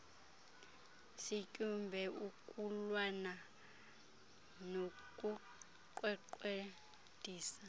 sityumbe ukulwana nokuqweqwediswa